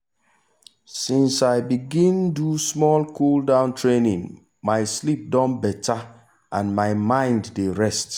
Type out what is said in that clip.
since i begin do small cool-down training my sleep don better and my mind dey rest.